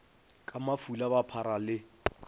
ka mafula ba phara le